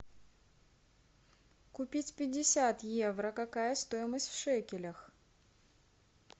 купить пятьдесят евро какая стоимость в шекелях